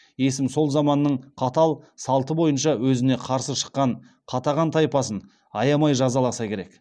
есім сол заманның қатал салты бойынша өзіне қарсы шыққан қатаған тайпасын аямай жазаласа керек